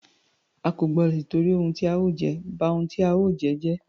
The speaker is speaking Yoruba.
A kò gbọdọ tìtorí ohun tí a ó jẹ, ba ohun tí a ó jẹ́ jẹ́.